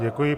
Děkuji.